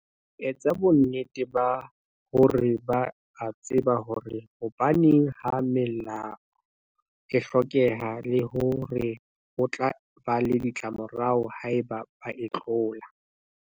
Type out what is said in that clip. Etsa bonnete ba hore ba a tseba hore hobaneng ha melao e hlokeha le hore ho tla ba le ditlamorao haeba ba e tlola.